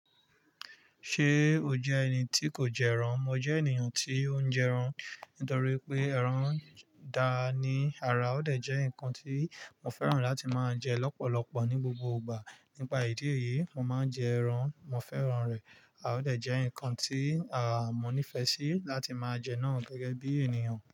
Ṣé o jẹ́ ẹni tí kò jẹ ẹran? Mo jẹ́ ènìyàn tí ó ń jẹ ẹran, nítorí pé ẹran dà ní àrà, ó dẹ̀ jẹ́ ǹkan tí mo fẹ́ràn láti máa ń jẹ lọ́pọ̀lọpọ̀ ní gbogbo ìgbà. Nípa ìdí èyí, mo máa ń jẹ ẹran. Mo fẹ́ran rẹ̀, a ó dẹ̀ jẹ́ ǹkan tí à mọ́ nífẹ́ sí láti máa jẹ náà gẹ́gẹ́ bí ènìyàn.